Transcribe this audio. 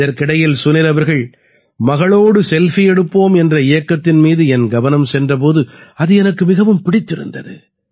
இதற்கிடையில் சுனில் அவர்கள் மகளோடு செல்ஃபி எடுப்போம் என்ற இயக்கத்தின் மீது என் கவனம் சென்ற போது அது எனக்கு மிகவும் பிடித்திருந்தது